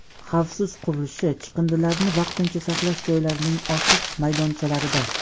xavfsiz qurilishi chiqindilarini vaqtincha saqlash joylarining ochiq maydonchalarida;.